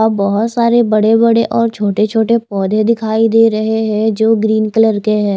अब बोहोत सारे बड़े बड़े और छोटे छोटे पोधे दिखाई देरे हे जो ग्रीन कलर के हैं।